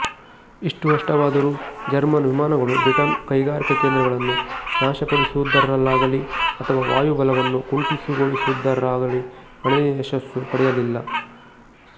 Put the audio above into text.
ಇಷ್ಟು ನಷ್ಟವಾದರೂ ಜರ್ಮನ್ ವಿಮಾನಗಳು ಬ್ರಿಟನ್ನ ಕೈಗಾರಿಕಾ ಕೇಂದ್ರಗಳನ್ನು ನಾಶಪಡಿಸುವುದರಲ್ಲಾಗಲಿ ಅದರ ವಾಯು ಬಲವನ್ನು ಕುಂಠಿತಗೊಳಿಸುವುದರಲ್ಲಾಗಲಿ ಗಣನೀಯ ಯಶಸ್ಸು ಪಡೆಯಲಿಲ್ಲ